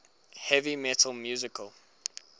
heavy metal musical